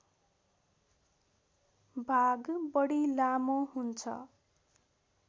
भाग बढी लामो हुन्छ